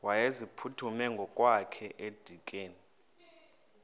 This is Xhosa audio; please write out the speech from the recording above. wayeziphuthume ngokwakhe edikeni